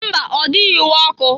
Mba! Ọ dịghị iwe ọkụ.